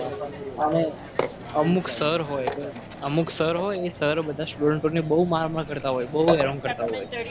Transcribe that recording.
અને અમુક sir હોય તો અમુક sir હોય એ બધા સ્ટુડન્ટોને બહુ માર માર કરતા હોય. બહુ હેરાન કરતા હોય.